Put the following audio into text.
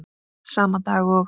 Sama dag og